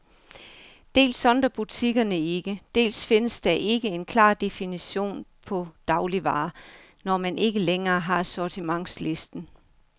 Dels sondrer butikkerne ikke, dels findes der ikke en klar definition på dagligvarer, når man ikke længere har sortimentslisten.